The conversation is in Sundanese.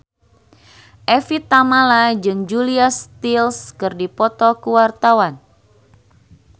Evie Tamala jeung Julia Stiles keur dipoto ku wartawan